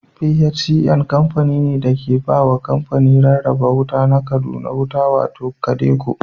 PHCN kamfani ne da ke ba wa kamfanin rarraba wuta na Kaduna wuta, wato KADECO.